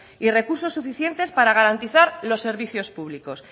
y recursos suficientes para garantizar los servicios públicos